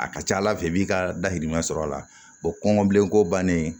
A ka ca ala fɛ i b'i ka dahirimɛ sɔrɔ a la kɔngɔ bilenko bannen